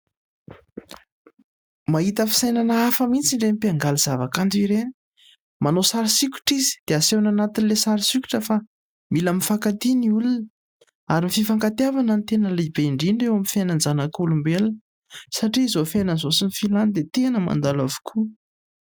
Mahita fisainana hafa mihitsy ireny mpiangaly zavakanto ireny. Manao sary sokitra izy dia asehony anatin'ilay sary sokitra fa mila mifankatia ny olona. Ary ny fifankatiavana no tena lehibe indrindra eo amin'ny fiainan'ny zanak'olombelona satria izao fiainana izao sy ny filàny dia tena mandalo avokoa.